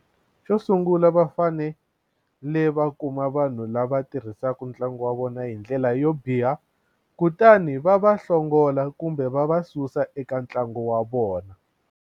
Xo sungula va fanele va kuma vanhu lava tirhisaka ntlangu wa vona hi ndlela yo biha kutani va va hlongola kumbe va va susa eka ntlangu wa vona.